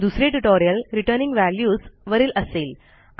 दुसरे tutorial returning values वरील असेल